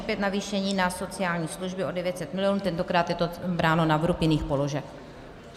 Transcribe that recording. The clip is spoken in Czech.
Opět navýšení na sociální služby o 900 mil. - tentokrát je to bráno na vrub jiných položek.